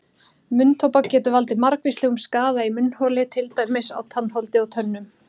Munntóbak getur valdið margvíslegum skaða í munnholi til dæmis á tannholdi og tönnum.